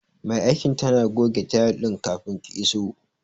Mai aikin tana goge tayil din kafin ki iso.